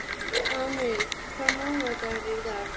Amil, hvaða mánaðardagur er í dag?